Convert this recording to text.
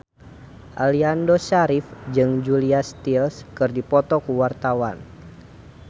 Aliando Syarif jeung Julia Stiles keur dipoto ku wartawan